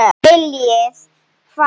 Viljir hvað?